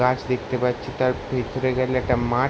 গাছ দেখতে পাচ্ছি তার ভেতরে গেলে একটা মাঠ ।